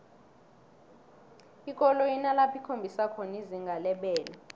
ikoloyi inalapho ikhombisa khona izinga lebelo